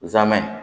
Zamɛ